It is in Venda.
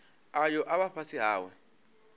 ayo a vha fhasi hawe